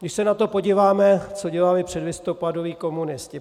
Když se na to podíváme, co dělali předlistopadoví komunisti.